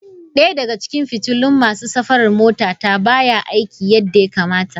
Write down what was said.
Daya daga cikin fitilun masu safarar motata baya aiki yadda ya kamata.